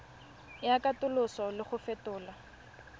ya katoloso le go fetola